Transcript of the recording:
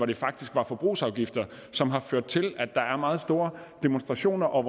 det faktisk forbrugsafgifter som har ført til at der er meget store demonstrationer og